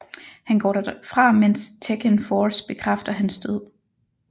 Han går derfra mens Tekken Force bekræfter hans død